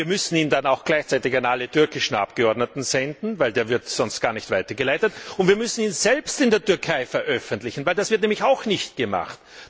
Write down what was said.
Aber wir müssen ihn dann auch gleichzeitig an alle türkischen Abgeordneten senden, denn der wird sonst gar nicht weitergeleitet, und wir müssen ihn selbst in der Türkei veröffentlichen, denn das wird eben auch nicht gemacht.